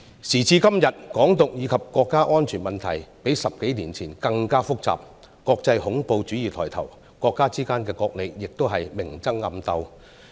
時至今日，"港獨"以及國家安全問題較10多年前更為複雜，國際恐怖主義抬頭，國家之間也明爭暗鬥。